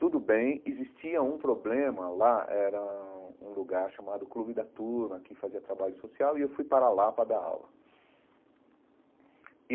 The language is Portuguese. Tudo bem, existia um problema lá, era um lugar chamado Clube da Turma, que fazia trabalho social, e eu fui para lá para dar aula.